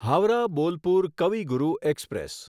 Howrah Bolpur Kavi Guru express